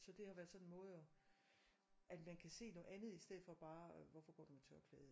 Så det har været sådan en måde og at man kan se noget andet i stedet for bare hvorfor går du med tørklæde